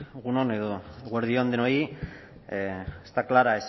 egun on edo eguerdi on denoi está clara